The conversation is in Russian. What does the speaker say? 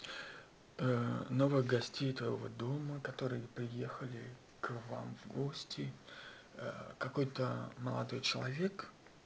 новых гостей твоего дома которые приехали к вам в гости какой-то молодой человек